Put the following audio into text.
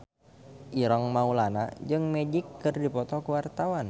Ireng Maulana jeung Magic keur dipoto ku wartawan